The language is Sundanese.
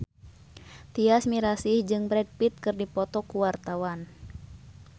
Tyas Mirasih jeung Brad Pitt keur dipoto ku wartawan